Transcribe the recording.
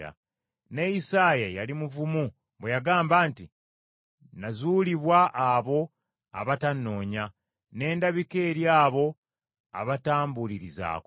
Ne Isaaya yali muvumu bwe yagamba nti, “Nazuulibwa abo abatannoonya, ne ndabika eri abo abatambuulirizaako.”